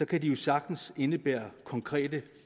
kan de jo sagtens indebære konkrete